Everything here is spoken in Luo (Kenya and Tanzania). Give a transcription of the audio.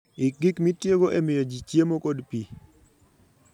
Ik gik mitiyogo e miyo ji chiemo kod pi